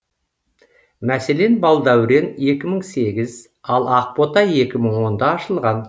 мәселен балдәурен екі мың сегіз ал ақбота екі мың онда ашылған